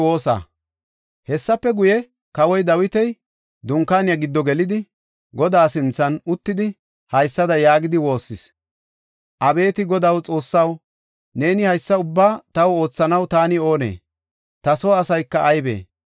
Hessafe guye, kawoy Dawiti dunkaaniya giddo gelidi, Godaa sinthan uttidi, haysada yaagidi woossis; “Abeeti Godaw, Xoossaw neeni haysa ubbaa taw oothanaw taani oonee? Ta soo asayka aybee?